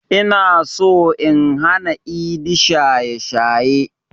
Inaso in hana idi shaye shaye